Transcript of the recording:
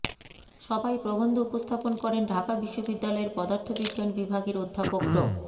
সভায় প্রবন্ধ উপস্থাপন করেন ঢাকা বিশ্ববিদ্যালয়ের পদার্থবিজ্ঞান বিভাগের অধ্যাপক ড